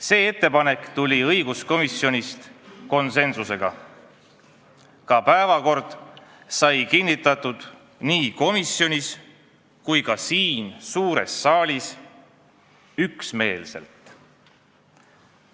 See ettepanek tehti õiguskomisjonis konsensuslikult ja ka päevakord sai nii komisjonis kui ka siin suures saalis üksmeelselt kinnitatud.